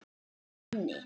Guð hefur minni.